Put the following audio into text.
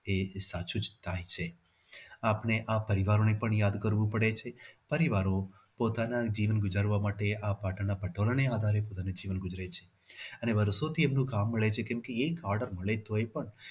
એ સાચું કહી શકાય છે આમ અને આ પરિવારોને પણ આ કામ કરવું પડે છે અને પરિવારો પોતાનો દીન ગુજારવા માટે આ પાટણના પટોળાને આ આધારે સૂચવે છે અને વર્ષોથી એમનું કામ કરે અને એક order મળે તો પણ